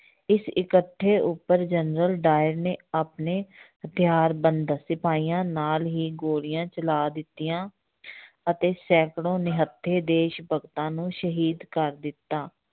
ਇਸ ਇਕੱਠੇ ਉੱਪਰ ਜਨਰਲ ਡਾਇਰ ਨੇ ਆਪਣੇ ਹਥਿਆਰਬੰਦ ਸਿਪਾਹੀਆਂ ਨਾਲ ਹੀ ਗੋਲੀਆਂ ਚਲਾ ਦਿੱਤੀਆਂ ਅਤੇ ਸੈਂਕੜੋ ਨਿਹੱਥੇ ਦੇਸ ਭਗਤਾਂ ਨੂੰ ਸ਼ਹੀਦ ਕਰ ਦਿੱਤਾ।